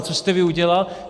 A co jste vy udělal?